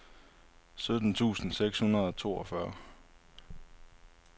sytten tusind seks hundrede og toogfyrre